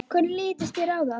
Hvernig litist þér á það?